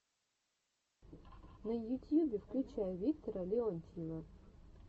на ютьюбе включай виктора леонтьева